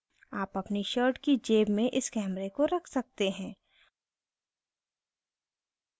आप अपनी shirt की जेब में इस camera को रख सकते हैं